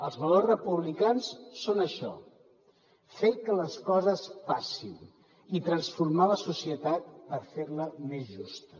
els valors republicans són això fer que les coses passin i transformar la societat per fer la més justa